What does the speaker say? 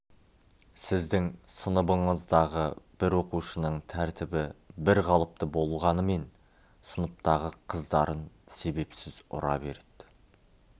сіздің сыныбыңыздағы бір оқушының тәртібі бірқалыпты болғанымен сыныптағы қыздарын себепсіз ұра береді